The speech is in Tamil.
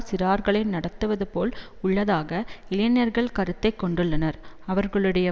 சிறார்களை நடத்துவது போல் உள்ளதாக இளைஞர்கள் கருத்தை கொண்டுள்ளனர் அவர்களுடைய